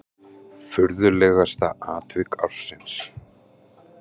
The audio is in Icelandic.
Furðulegasta atvik ársins?